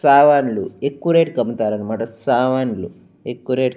సామాన్లు ఎక్కవ రేట్ కి అమ్ముతారు అన్నమాట సామాన్లు ఎక్కువ రేట్ --